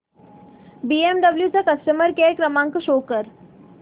BMW चा customer care क्रमांक show कर